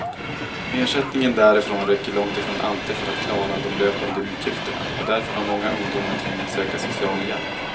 Ersättningen därifrån räcker långtifrån alltid för att klara de löpande utgifterna, och därför har många ungdomar tvingats söka socialhjälp.